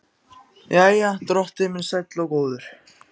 Jæja, drottinn minn sæll og góður.